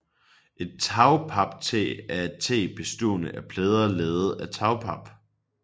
Et tagpaptag er et tag bestående af plader lavet af tagpap